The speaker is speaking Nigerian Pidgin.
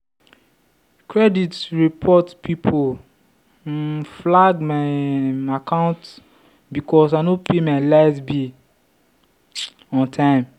credit report people um flag my um account because i no pay my light bill um on time.